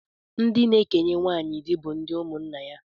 Ndị na-ekenye nwaanyị di bụ ndị ụmụnna nna ya